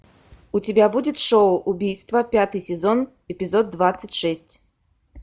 у тебя будет шоу убийство пятый сезон эпизод двадцать шесть